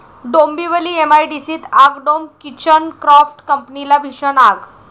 डोंबिवली एमआयडीसीत आगडोंब, kitchen craft कंपनीला भीषण आग